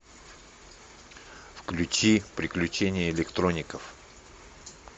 включи приключения электроников